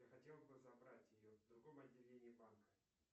я хотел бы забрать ее в другом отделении банка